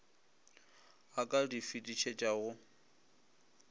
a ka di fetišetšago go